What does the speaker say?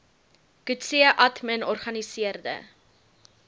coetzee admin organiseerde